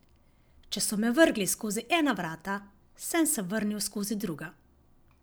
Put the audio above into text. Če so me vrgli skozi ena vrata, sem se vrnil skozi druga.